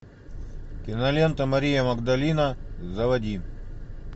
кинолента мария магдалина заводи